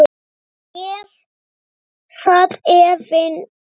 En í mér sat efinn.